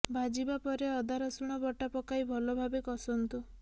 ଭାଜିବା ପରେ ଅଦା ରସୁଣ ବଟା ପକାଇ ଭଲ ଭାବେ କଷନ୍ତୁ